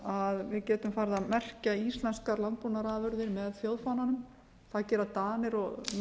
að við getum farið að merkja íslenskar landbúnaðarafurðir með þjóðfánanum það gera danir norðmenn og